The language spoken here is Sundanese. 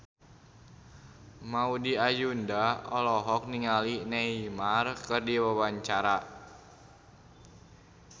Maudy Ayunda olohok ningali Neymar keur diwawancara